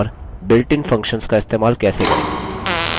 और built in functions का इस्तेमाल कैसे करें